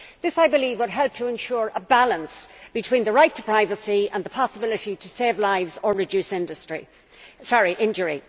This, I believe, will help to ensure a balance between the right to privacy and the possibility to save lives or reduce injury.